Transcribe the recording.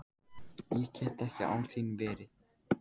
Ég get ekki án þín verið.